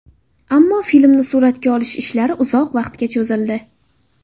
Ammo filmni suratga olish ishlari uzoq vaqtga cho‘zildi.